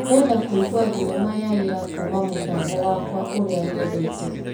Ndĩrenda kũigua thinema ya ira kuma mũtambo wakwa ũrĩa nyendete .